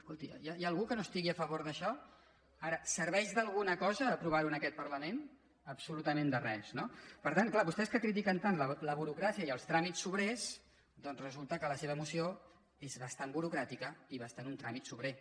escolti hi ha algú que no estigui a favor d’això ara serveix d’alguna cosa aprovar ho en aquest parlament absolutament de res no per tant és clar vostès que critiquen tant la burocràcia i els tràmits sobrers doncs resulta que la seva moció és bastant burocràtica i bastant un tràmit sobrer